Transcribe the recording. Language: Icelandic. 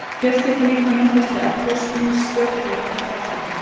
Fjöll geta líka myndast við eldgos, ýmist stök fjöll eða fjallhryggir.